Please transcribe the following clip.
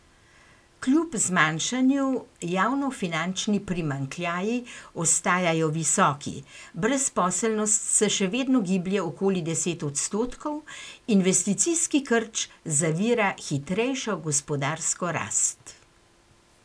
Kljub zmanjšanju javnofinančni primanjkljaji ostajajo visoki, brezposelnost se še vedno giblje okoli deset odstotkov, investicijski krč zavira hitrejšo gospodarsko rast.